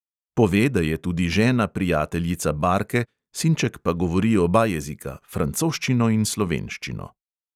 Pove, da je tudi žena prijateljica barke, sinček pa govori oba jezika, francoščino in slovenščino.